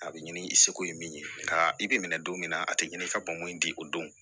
A bɛ ɲini i seko ye min ye nka i bɛ minɛ don min na a tɛ ɲini i ka bɔnko in di o don